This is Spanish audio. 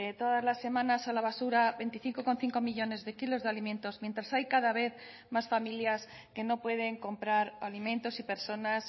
todas las semanas a la basura veinticinco coma cinco millónes de kilos de alimentos mientras hay cada vez más familias que no pueden comprar alimentos y personas